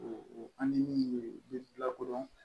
O an ni min bɛ bilakodɔn